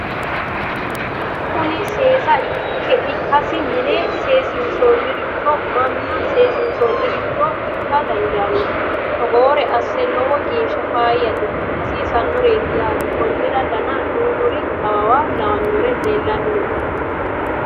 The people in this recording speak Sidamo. kuni seesa ikkasi mine seesinsanniricho manna seesinsanniricho ikka dandanno togoore assa lowo geeshsha fayyate hasiisannoreeti yaate konnira dana duumuri awawa lawannori leellanni nooe